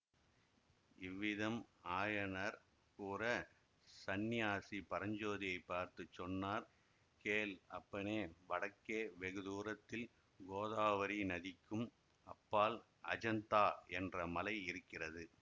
இவ்விதம் ஆயனர் கூற சந்நியாசி பரஞ்சோதியை பார்த்து சொன்னார் கேள் அப்பனே வடக்கே வெகு தூரத்தில் கோதாவரி நதிக்கும் அப்பால் அஜந்தா என்ற மலை இருக்கிறது